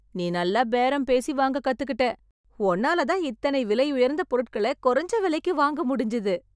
நீ நல்லா பேரம் பேசி வாங்க கத்துக்கிட்டே... உன்னாலதான் இத்தன விலையுயர்ந்த பொருட்களை, குறைஞ்ச விலைக்கு வாங்க முடிஞ்சது.